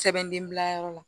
Sɛbɛnden bila yɔrɔ la